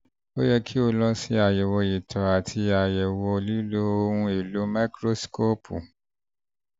ó yẹ kó o lọ ṣe àyẹ̀wò ìtọ̀ àti àyẹ̀wò ìtọ̀ nípa lílo ohun-èlò máíkírósíkóópù